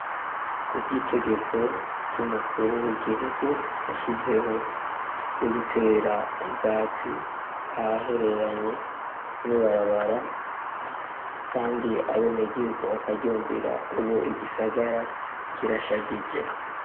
ku bw'itegeko ry'umukuru w'igihugu yashizeho ryo gutera ubwatsi ahahereranye n'ibarabara , kandi abene gihugu bakaryumvira , ubu igisagara kirashagije.